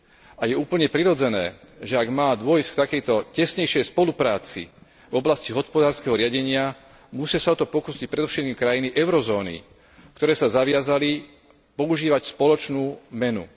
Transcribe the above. A je úplne prirodzené, že ak má dôjsť k takejto tesnejšej spolupráci v oblasti hospodárskeho riadenia, musia sa o to pokúsiť predovšetkým krajiny eurozóny, ktoré sa zaviazali používať spoločnú menu.